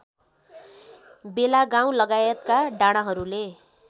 बेलागाउँ लगायतका डाँडाहरूले